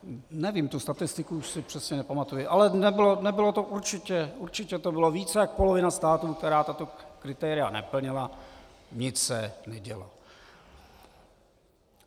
Nevím, tu statistiku už si přesně nepamatuji, ale nebylo to určitě, určitě to byla více jak polovina států, která tato kritéria neplnila, nic se nedělo.